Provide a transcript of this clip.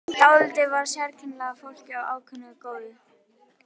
Dálítið var þar af sérkennilegu fólki en ákaflega góðu.